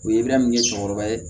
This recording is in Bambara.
U ye bɛla min kɛ cɛkɔrɔba ye